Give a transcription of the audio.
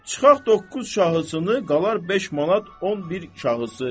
Çıxaq doqquz şahısını, qalar 5 manat 11 şahısı.